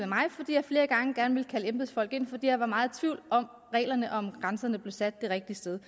mig fordi jeg flere gange gerne ville kalde embedsfolk ind fordi jeg var meget i tvivl om reglerne og om hvorvidt grænserne blev sat det rigtige sted